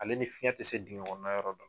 Ale ni fiɲɛ tɛ se digɛn kɔnɔna yɔrɔ dɔ